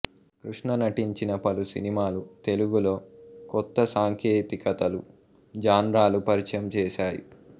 కృష్ణ నటించిన పలు సినిమాలు తెలుగులో కొత్త సాంకేతికతలు జాన్రాలు పరిచయం చేశాయి